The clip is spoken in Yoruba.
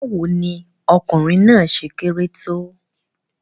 Báwo ni ọkùnrin náà ṣe kéré tó?